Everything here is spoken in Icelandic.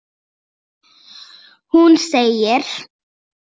Hún segir